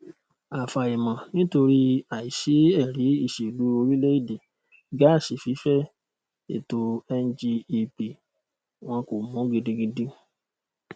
afàìmọnitori àìsí ẹrí ìṣèlú orílẹèdè gáàsí fífẹ ètò ngep wọn kò mú gidigidi